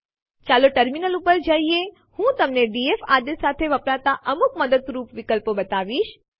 ચાલો ટર્મિનલ ઉપર જઈએ હું તમને ડીએફ આદેશ સાથે વાપરતા અમુક મદદરૂપ વિકલ્પો બતાવીશ